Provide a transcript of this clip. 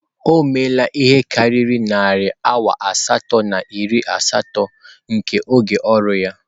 O meela ihe karịrị narị awa asatọ na iri asatọ nke oge ọrụ ya.